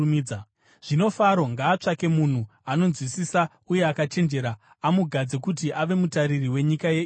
“Zvino Faro ngaatsvake munhu anonzwisisa uye akachenjera amugadze kuti ave mutariri wenyika yeIjipiti.